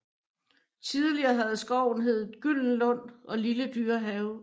Tidligere havde skoven heddet Gyldenlund og Lille Dyrehave